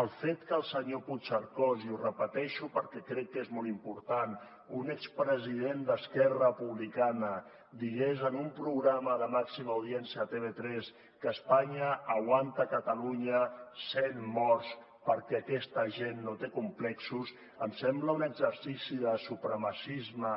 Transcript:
el fet que el senyor puigcercós i ho repeteixo perquè crec que és molt important un expresident d’esquerra republicana digués en un programa de màxima audiència a tv3 que espanya aguanta a catalunya cent morts perquè aquesta gent no té complexos em sembla un exercici de supremacisme